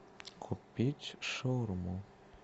купить шаурму